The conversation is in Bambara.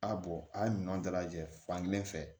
A bɔn a ye ɲɔn dalajɛ fankelen fɛ